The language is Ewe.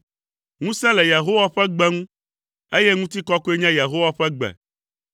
Ŋusẽ le Yehowa ƒe gbe ŋu, eye ŋutikɔkɔe nye Yehowa ƒe gbe.